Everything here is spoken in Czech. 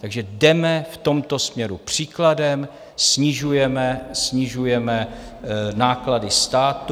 Takže jdeme v tomto směru příkladem, snižujeme náklady státu.